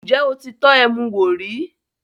Ǹjẹ́ o ti tọ́ ẹmu wò rí?